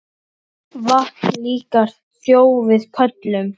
Vatn líka sjó við köllum.